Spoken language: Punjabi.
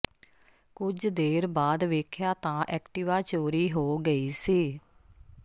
ਕੁਝ ਦੇਰ ਬਾਅਦ ਵੇਖਿਆ ਤਾਂ ਐਕਟਿਵਾ ਚੋਰੀ ਹੋ ਗਈ ਸੀ